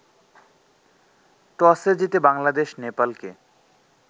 টসে জিতে বাংলাদেশ নেপালকে